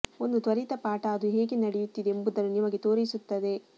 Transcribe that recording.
ಒಂದು ತ್ವರಿತ ಪಾಠ ಅದು ಹೇಗೆ ನಡೆಯುತ್ತಿದೆ ಎಂಬುದನ್ನು ನಿಮಗೆ ತೋರಿಸುತ್ತದೆ